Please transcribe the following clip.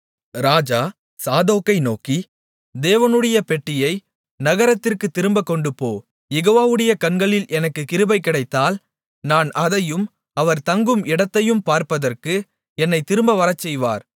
ராஜா சாதோக்கை நோக்கி தேவனுடைய பெட்டியை நகரத்திற்குத் திரும்பக் கொண்டுபோ யெகோவாவுடைய கண்களில் எனக்குக் கிருபை கிடைத்தால் நான் அதையும் அவர் தங்கும் இடத்தையும் பார்ப்பதற்கு என்னைத் திரும்ப வரச்செய்வார்